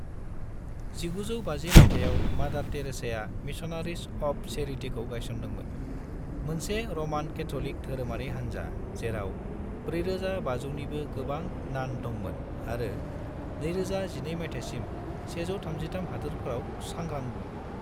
1950 मायथाइयाव, मादार टेरेसाया मिशनारिस अफ चैरिटीखौ गायसनदोंमोन, मोनसे र'मान कैथ'लिक धोरोमारि हानजा जेराव 4,500 निबो गोबां नान दंमोन आरो 2012 मायथाइसिम 133 हादोरफोराव सांग्रांमोन।